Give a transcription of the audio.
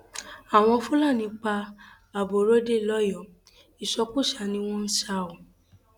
àwọn um fúlàní pa aborọdé lọyọọ ìsọkúsàá um ni wọn sá a